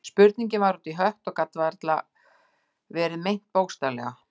Spurningin var út í hött og gat varla verið meint bókstaflega.